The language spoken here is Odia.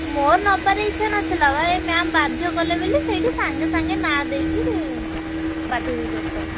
ମୋର ନବାରେ ଇଛା ନ ଥିଲା ବା ଏ ma'am ବାଧ୍ୟ କଲେ ବୋଲିକି ସେଇଠି ସଙ୍ଗେ ସଙ୍ଗେ ନାଁ ଦେଇକି participate କଲି।